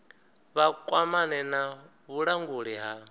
vha kwamane na vhulanguli ha